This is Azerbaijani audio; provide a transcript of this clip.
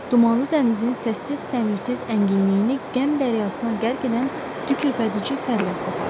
Dumanlı dənizin səssiz səmirsiz ənginliyini qəm dəryasına qərq edən tükhürpədicifəryad qopardı.